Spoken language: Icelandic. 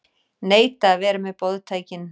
Neita að vera með boðtækin